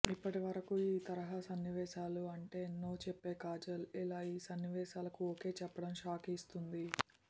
ఇప్పటివరకు ఈ తరహా సన్నివేశాలు అంటే నో చెప్పే కాజల్ ఇలా ఈ సన్నివేశాలకు ఓకే చెప్పడం షాక్ ఇస్తుంది